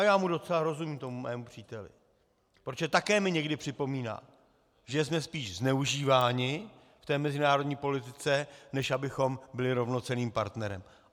A já mu docela rozumím, tomu svému příteli, protože také mi někdy připomíná, že jsme spíš zneužíváni v té mezinárodní politice, než abychom byli rovnocenným partnerem.